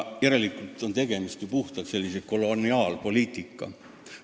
Järelikult on tegemist koloniaalpoliitikaga.